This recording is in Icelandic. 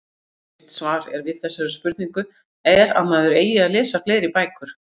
Klassískt svar er við þessari spurningu er að maður eigi að lesa fleiri bækur.